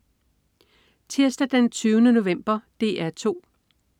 Tirsdag den 20. november - DR 2: